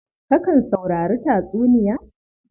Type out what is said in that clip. Kakan saurari tatsuniya?